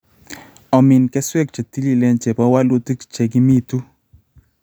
Omin keswek che tiliileen, che po walutik che kimitu.